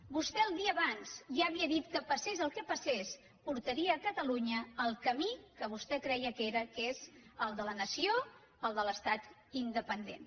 vostè el dia abans ja havia dit que passés el que passés portaria catalunya al camí que vostè creia que era que és el de la nació el de l’estat independent